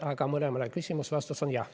Aga mõlemale küsimusele on vastus jah.